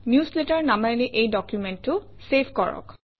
newsletter নামেৰে এই ডকুমেণ্টটো চেভ কৰক